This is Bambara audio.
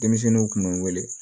Denmisɛnninw kun bɛ n wele